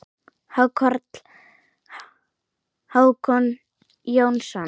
Hákarl: Hákon Jónsson